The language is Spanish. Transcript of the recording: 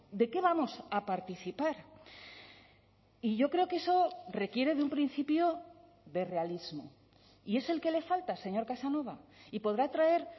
de qué vamos a participar y yo creo que eso requiere de un principio de realismo y es el que le falta señor casanova y podrá traer